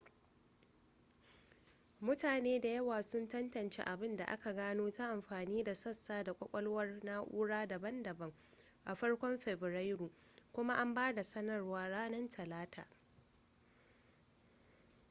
mutane da yawa sun tantance abin da aka gano ta amfani da sassa da kwakwalwar na'ura daban-daban a farkon fabrairu kuma an ba da sanarwar ranar talata